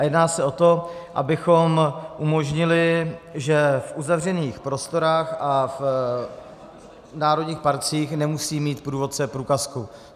A jedná se o to, abychom umožnili, že v uzavřených prostorách a v národních parcích nemusí mít průvodce průkazku.